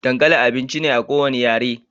Dankali abinci ne na kowane yare